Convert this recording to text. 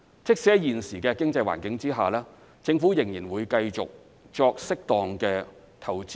即使在現時的經濟環境下，政府仍會繼續對基建作適當投資。